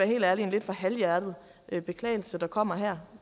helt ærlig en lidt for halvhjertet beklagelse der kommer her